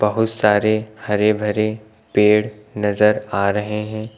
बहुत सारे हरे भरे पेड़ नजर आ रहे हैं।